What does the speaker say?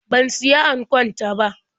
Ban siya ankon ta ba.